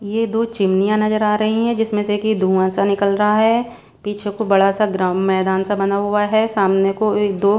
ये दो चिमनियां नजर आ रही हैं जिसमें से की धुआं सा निकल रहा है पीछे एक तो बड़ा सा ग्रा मैदान सा बना हुआ है सामने को ए दो --